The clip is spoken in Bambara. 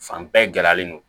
Fan bɛɛ gɛlɛyalen don